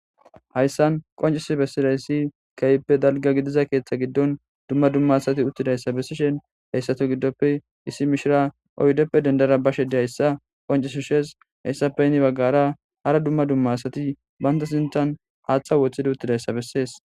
Hayssan qoncis bessidayssi keeyppe dalga gidiza keeththa giddon dumma dumma asati uttidayssa bessishen heyssato giddoppe issi mishira oydeppe dendara ba shedi hayssa qoncisu sheez heyssa pe yini baggara hara dumma dumma asati banta sintan haaththa woththidi uttidayssa bessees.